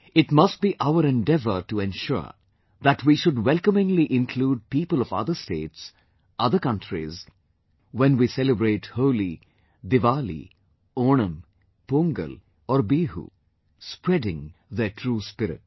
It must be our endeavour to ensure that we should welcomingly include people of other states, other countries when we celebrate Holi, Diwali, Onam, Pongal or Bihu, spreading their true spirit